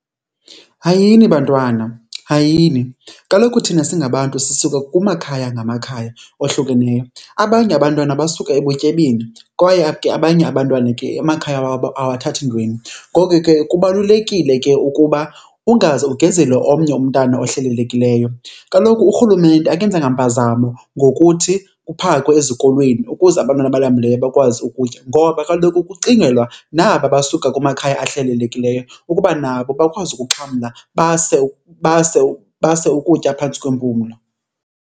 Hayini bantwana, hayini. Kaloku thina singabantu sisuka kumakhaya ngamakhaya ohlukeneyo. Abanye abantwana basuka ebutyebini kwaye ke abanye abantwana ke amakhaya wabo awathathi ntweni. Ngoko ke kubalulekile ke ukuba ungaze ukugezele omnye umntana ohlelelekileyo. Kloku urhulumente akenzanga mpazamo ngokuthi kuphakwe ezikolweni ukuze abantwana abalambileyo bakwazi ukutya, ngoba kaloku kucingelwa naba basuka kumakhaya ahlelelekileyo ukuba nabo bakwazi ukuxhamla base, base, base ukutya phantsi kwempumlo.